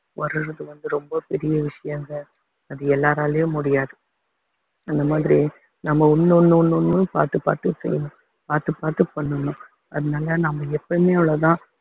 வர்றதுக்கு வந்து ரொம்ப பெரிய விஷயங்க அது எல்லாராலையும் முடியாது அந்த மாதிரி நம்ம ஒண்ணு ஒண்ணு ஒண்ணு ஒண்ணு பார்த்து பார்த்து செய்யணும் பார்த்து பார்த்து பண்ணணும் அதனால நாம எப்பவுமே அவ்வளவுதான்